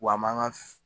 Wa an man ka